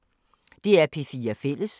DR P4 Fælles